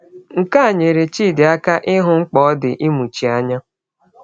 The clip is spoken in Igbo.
Nke a nyere Chidi aka ịhụ mkpa ọ dị ịmụchi anya.